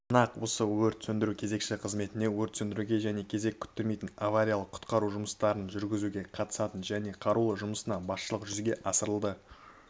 нақ осы өрт сөндіру кезекші қызметінде өрт сөндіруге және кезек күттірмейтін авариялық-құтқару жұмыстарын жүргізуге қатысатын және қарауыл жұмысына басшылық жүзеге асырылады